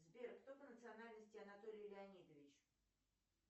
сбер кто по национальности анатолий леонидович